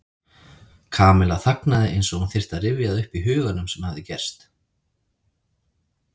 Kamilla þagnaði eins og hún þyrfti að rifja það upp í huganum sem hafði gerst.